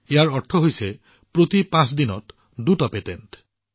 ইয়াৰ অৰ্থ হৈছে প্ৰতি পাঁচ দিনত দুটাকৈ পেটেন্ট